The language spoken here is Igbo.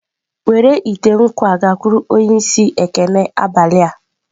Were ite nkwu a gakwuru onye isi ekene abalị a.